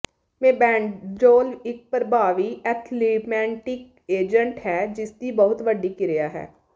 mebendazole ਇੱਕ ਪ੍ਰਭਾਵੀ anthelmintic agent ਹੈ ਜਿਸਦੀ ਬਹੁਤ ਵੱਡੀ ਕਿਰਿਆ ਹੈ